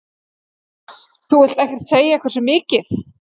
Þú vilt ekkert segja hversu mikið?